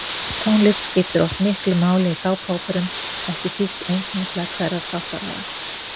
Tónlist skiptir oft miklu máli í sápuóperum, ekki síst einkennislag hverrar þáttaraðar.